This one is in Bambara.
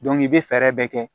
i bɛ fɛɛrɛ bɛɛ kɛ